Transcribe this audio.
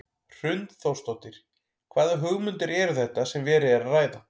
Hrund Þórsdóttir: Hvaða hugmyndir eru þetta sem verið er að ræða?